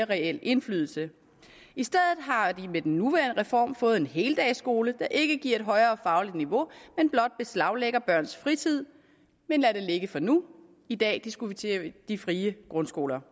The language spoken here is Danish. reel indflydelse i stedet har vi med den nuværende reform fået en heldagsskole der ikke giver et højere fagligt niveau men blot beslaglægger børns fritid men lad det ligge for nu i dag diskuterer vi de frie grundskoler